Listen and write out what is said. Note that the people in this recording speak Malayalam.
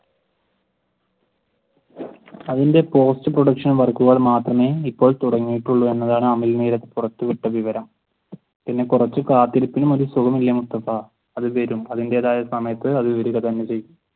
അതിന്റെ post production wok കൾ മാത്രമേ ഇപ്പോൾ തൊടങ്ങിയിട്ടുള്ളു എന്നാണ് അമൽ നീരദ് പുറത്തു വിട്ട വിവരം. പിന്നെ കുറച്ചു കാത്തിരിപ്പിനും സുഖമില്ലേ മുസ്തഫ അത് വരും അതിന്റെതായ സമയത്തു അത് വരിക തന്നെ ചെയ്യും.